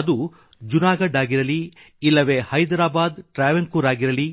ಅದು ಜುನಾಗಡ್ ಆಗಿರಲಿ ಇಲ್ಲವೆ ಹೈದ್ರಾಬಾದ್ ಟ್ರಾವಂಕೋರ್ ತಿರುವನಂತಪುರಂ ಆಗಿರಲಿ